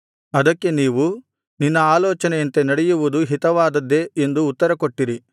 ಅದಕ್ಕೆ ನೀವು ನಿನ್ನ ಆಲೋಚನೆಯಂತೆ ನಡೆಯುವುದು ಹಿತವಾದದ್ದೇ ಎಂದು ಉತ್ತರಕೊಟ್ಟಿರಿ